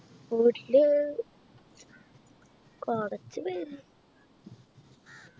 വീട്ടില് കുറച്ചു പേര്